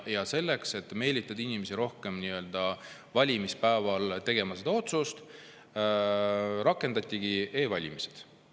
Ja selleks, et meelitada rohkemaid inimesi valimispäeval oma otsust tegema, rakendatigi e-valimised.